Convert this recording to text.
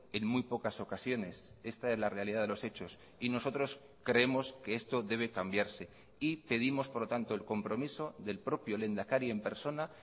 en muy pocas ocasiones esta es la realidad de los hechos y nosotros creemos que esto debe cambiarse y pedimos por lo tanto el compromiso del propio lehendakari en persona